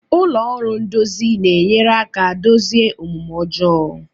Ụlọ ọrụ ndozi na-enyere aka dozie omume ọjọọ.